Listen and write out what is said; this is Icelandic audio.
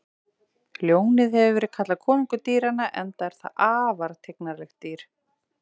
Ljónið hefur verið kallað konungur dýranna enda er það afar tignarlegt dýr.